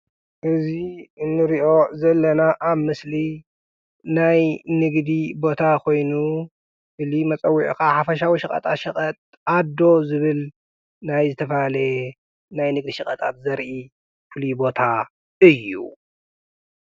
እዚ እንሪኦ ዘለና ኣብ ምስሊ ናይ ንግዲ ቦታ ኮይኑ ፍሉይ መፀዉዒኡ ከዓ ሓፈሻዊ ሸቐጣሸቐጥ ኣዶ ዝብል ናይ ዝተፈላለየ ናይ ንግዲ ሸቐጣት ዘርኢ ፍሉይ ቦታ እዩ።